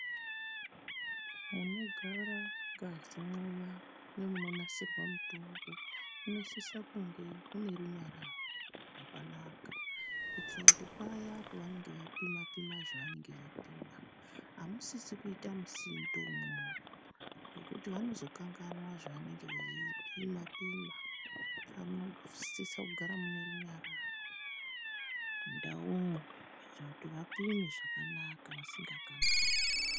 Munogara ngazi muya nemunonasirwe mitombo munosisa kunge mune runyararo rwakanaka kuitire kuti paya pavanenge veipima pima zvavanenge veipima amusisi kuita musindo umwomwo ngekuti vanozokanganwa zvavanenge veipima pima., munosisa kunge mune runyararo mundaumwo kuitira kuti vapime zvakanaka vasingakanganwi.